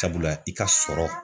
Sabula i ka sɔrɔ